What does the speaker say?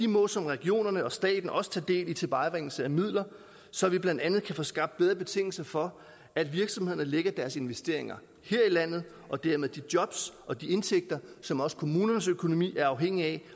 må som regionerne og staten også tage del i tilvejebringelsen af midler så vi blandt andet kan få skabt bedre betingelser for at virksomhederne lægger deres investeringer her i landet og dermed de jobs og de indtægter som også kommunernes økonomi er afhængig af